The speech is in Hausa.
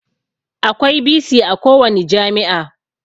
Akwai bc a kowani jami'a